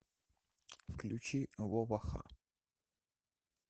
включи вова ха